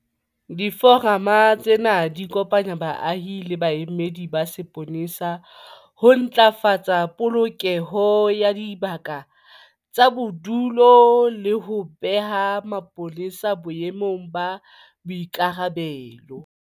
Diforamo tsena di kopanya baahi le baemedi ba sepolesa ho ntlafatsa polokeho ya dibaka tsa bodulo le ho beha mapolesa boemong ba boikarabelo.